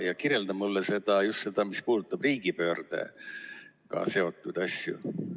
Ja kirjelda mulle just seda, mis puudutab riigipöördega seotud asju.